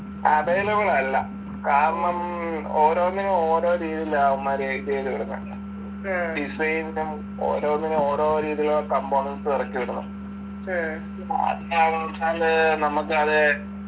availabe അല്ല കാരണം ഓരോന്നിനും ഓരോ രീതിയിലാ അവന്മാര് ഇതെയ്ത് വിടുന്നെ design നും ഓരോന്നിനും ഓരോ രീതിയിലുള്ള components ഇറക്കി വിടുന്നെ നമ്മക്ക് അത്